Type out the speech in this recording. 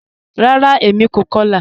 Ràrá, èmi kò kọ̀lá